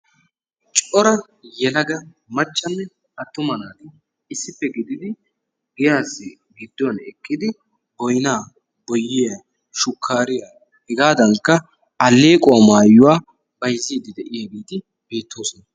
Cora yelaga maccanne atumma naati issippe gididi giyassi gidduwan eqidi boyna, boyiya, shukariya hegaadankka allequwau maayuwa mayziidi de'iyagetti beettoosona.